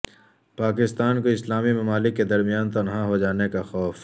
پاکستان کو اسلامی ممالک کے درمیان تنہا ہو جانے کا خوف